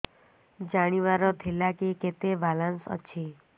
ଜାଣିବାର ଥିଲା କି କେତେ ବାଲାନ୍ସ ଅଛି